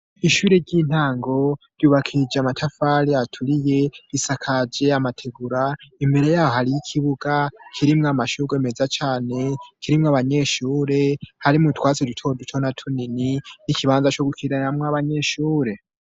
Ishure ry'intango ryubakishije amatafari aturiye, isakaje amategura, imbere yaho hariyo ikibuga kirimwo amashurwe meza cane, kirimwo abanyeshure, harimwo utwatsi duto duto na tunini, n'ikibanza co gukiniramwo abanyeshure.